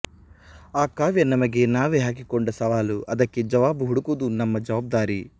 ಅಕಾವ್ಯ ನಮಗೆ ನಾವೇ ಹಾಕಿಕೊಂಡ ಸವಾಲು ಅದಕ್ಕೆ ಜವಾಬು ಹುಡುಕುವುದು ನಮ್ಮ ಜವಾಬ್ದಾರಿ